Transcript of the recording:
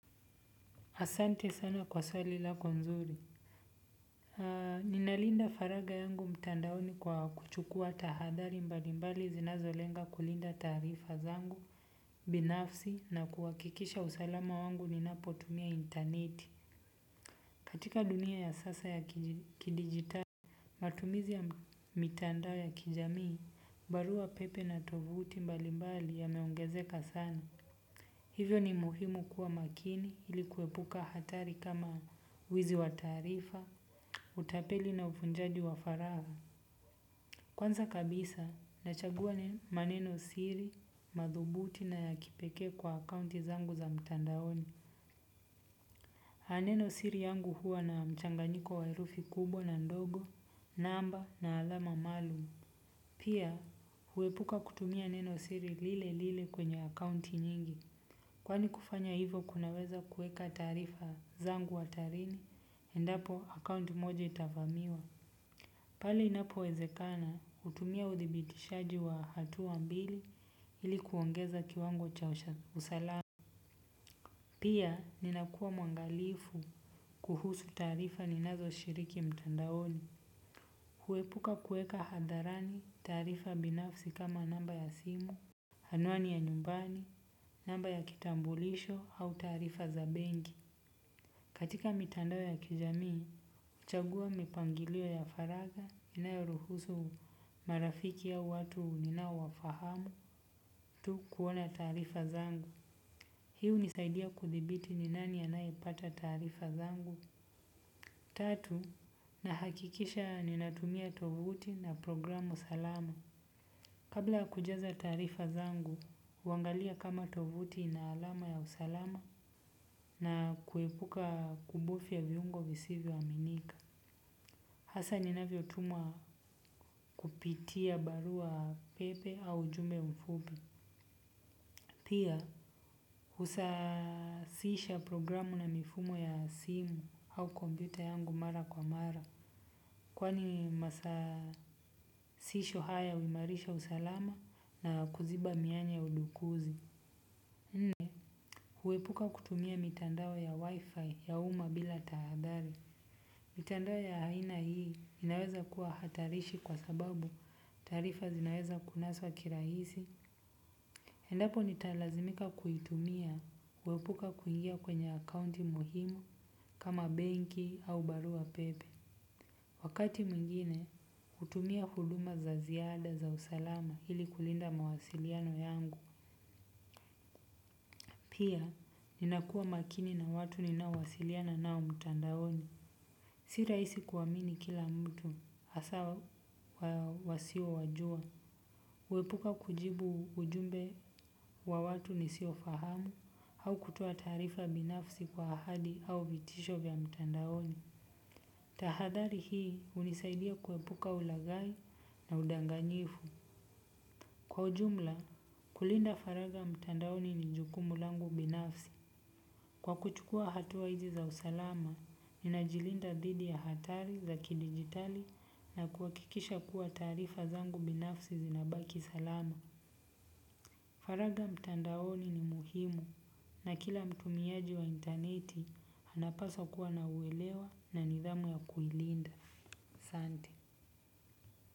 Asante sana kwa swali lako nzuri. Ninalinda faragha yangu mtandaoni kwa kuchukua tahadhari mbalimbali zinazolenga kulinda taarifa zangu, binafsi na kuhakikisha usalama wangu ninapotumia interneti. Katika dunia ya sasa ya kidigitali. Matumizi ya mitandao ya kijamii, barua pepe na tovuti mbalimbali yanaongezeka sana. Hivyo ni muhimu kuwa makini ili kuepuka hatari kama wizi wa taarifa utapeli na uvunjaji wa faragha. Kwanza kabisa, nachagua maneno siri, madhubuti na ya kipeke kwa akaunti zangu za mtandaoni. Maneno siri yangu huwa na mchanganyiko waherufi kubwa na ndogo, namba na alama maalum. Pia huepuka kutumia neno siri lile lile kwenye akaunti nyingi. Kwani kufanya hivo kunaweza kuweka taarifa zangu hatarini, endapo akaunti moja itavamiwa. Pali inapo wezekana, hutumia udhibitishaji wa hatua mbili ilikuongeza kiwango cha usalama. Pia, ninakuwa mwangalifu kuhusu taarifa ninazo shiriki mtandaoni. Huepuka kuweka hadharani taarifa binafsi kama namba ya simu, anwani ya nyumbani, namba ya kitambulisho au taarifa za benki. Katika mitandao ya kijamii, huchagua mipangilio ya faragha inayoruhusu marafiki au watu ninao wafahamu tu kuona taarifa zangu. Hii hunisaidia kudhibiti ni nani anayepata taarifa zangu. Tatu, nahakikisha ninatumia tovuti na programu salama. Kabla ya kujaza taarifa zangu, huangalia kama tovuti ina alama ya usalama na kuepuka kubufya viungo visivyo aminika. Hasa ninavyo tumwa kupitia barua pepe au ujumbe mfupi. Pia, husasisha programu na mifumo ya simu au kompyuta yangu mara kwa mara. Kwani masasisho haya huimarisha usalama na kuziba mianya ya udukuzi nne huepuka kutumia mitandao ya wifi ya uma bila tahadhari. Mitandao ya aina hii inaweza kuwa hatarishi kwa sababu taarifa zinaweza kunaswa kirahisi. Endapo nitalazimika kuitumia huepuka kuingia kwenye akaunti muhimu kama benki au barua pepe. Wakati mwingine hutumia huduma za ziada za usalama hili kulinda mawasiliano yangu pia ninakuwa makini na watu ninao wasiliana nao mtandaoni. Si rahisi kuamini kila mtu hasa wasio wajua. Huepuka kujibu ujumbe wa watu nisio fahamu au kutoa taarifa binafsi kwa ahadi au vitisho vya mtandaoni. Tahadhari hii hunisaidia kuepuka ulagai na udanganyifu. Kwa ujumla, kulinda faragha mtandaoni ni jukumu langu binafsi. Kwa kuchukua hatua hizi za usalama ninajilinda dhidi ya hatari za kidigitali na kuhakikisha kuwa taarifa zangu binafsi zinabaki salama. Faragha mtandaoni ni muhimu na kila mtumiaji wa interneti anapaswa kuwa ana uelewa na nidhamu ya kuilinda. Sante.